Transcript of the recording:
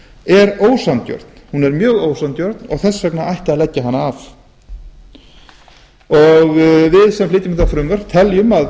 er ósanngjörn hún er mjög ósanngjörn og þess vegna ætti að leggja hana af við sem flytjum þetta frumvarp teljum að